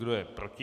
Kdo je proti?